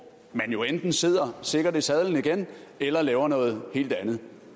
man jo enten sidder sikkert i sadlen igen eller laver noget helt andet